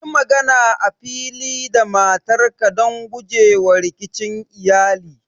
Yi magana a fili da matarka don guje wa rikicin iyali.